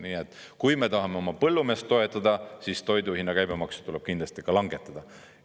Nii et kui me tahame oma põllumeest toetada, siis toiduhinna käibemaksu tuleb kindlasti langetada.